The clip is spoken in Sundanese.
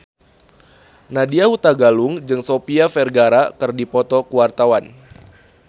Nadya Hutagalung jeung Sofia Vergara keur dipoto ku wartawan